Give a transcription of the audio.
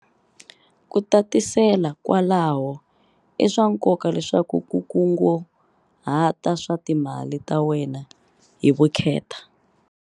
Ku tatisela kwalaho, i swa nkoka leswaku u kunguhata swa timali ta wena hi vukheta.